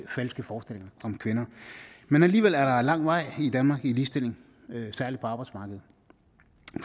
falske forestillinger om kvinder men alligevel er der lang vej i danmark i ligestilling særlig på arbejdsmarkedet